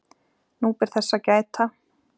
nú ber þess að gæta